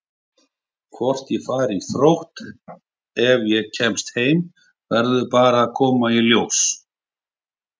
Hvort ég fari í Þrótt ef ég kem heim verður bara að koma í ljós.